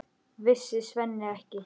Vissi Svenni ekki?